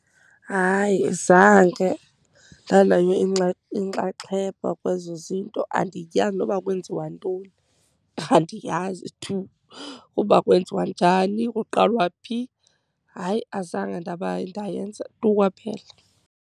Hayi, zange ndanayo inkxaxheba kwezo zinto. Andiyazi noba kwenziwa ntoni, andiyazi tu uba kwenziwa njani, kuqalwa phi. Hayi, azange ndaba ndayenza tu kwaphela.